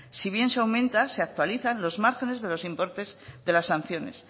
si bien se aumenta se actualizan los márgenes de los importes de las sanciones